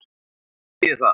Hvað þýðir það?